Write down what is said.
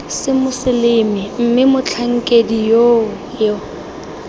semoseleme mme motlhankedi yoo yo